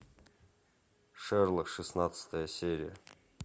шерлок шестнадцатая серия